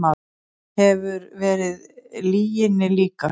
Hefur verið lyginni líkast